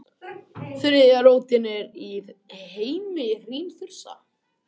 Þriðja rótin er í heimi hrímþursa.